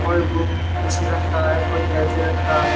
कोई बुक किसी रंग का है कोई कैसे रंग का है।